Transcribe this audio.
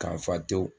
Kan fa tew